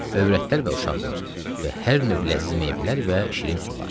Övrətlər və uşaqlar və hər növ ləzzətli meyvələr və şirin sular.